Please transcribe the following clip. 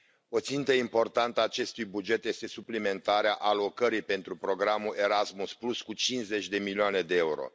O țintă importantă a acestui buget este suplimentarea alocării pentru programul Erasmus cu 50 de milioane EUR.